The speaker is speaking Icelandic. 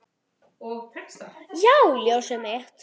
Já, ljósið mitt.